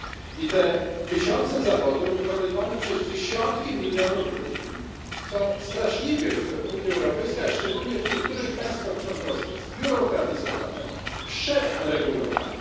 I te tysiące zawodów, wykonywane przez dziesiątki milionów ludzi, są straszliwie w Unii Europejskiej, a szczególnie w niektórych państwach członkowskich zbiurokratyzowane, przeregulowane.